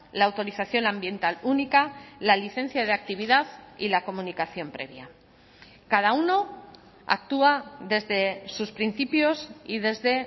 la autorización ambiental única la licencia de actividad y la comunicación previa cada uno actúa desde sus principios y desde